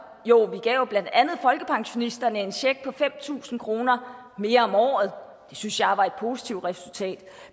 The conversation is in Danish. jo vi gav blandt andet folkepensionisterne en check på fem tusind kroner mere om året det synes jeg var et positivt resultat